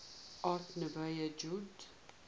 art nouveau jugend